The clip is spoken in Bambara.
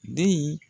Den in